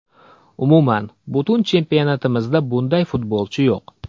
Umuman, butun chempionatimizda bunday futbolchi yo‘q.